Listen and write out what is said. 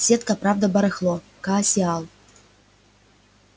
сетка правда барахло коаксиал